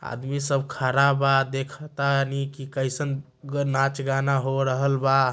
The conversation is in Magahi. आदमी सब खरा बा। देखा तानी की कैसन नाच-गाना हो रहल बा।